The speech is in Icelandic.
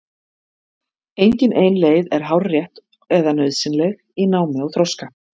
Engin ein leið er hárrétt eða nauðsynleg í námi og þroska.